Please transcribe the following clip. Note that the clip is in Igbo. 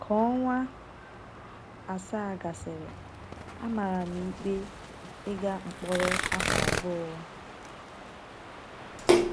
Ka ọnwa asaa gasịrị, a mara m ikpe ịga mkpọrọ afọ abụọ..